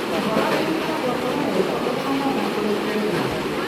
Ũhoro nĩ ũkoragwo ũroretwo ũtanamba kũrekererio?